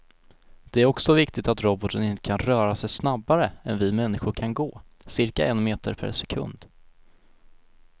Det är också viktigt att roboten inte kan röra sig snabbare än vi människor kan gå, cirka en meter per sekund.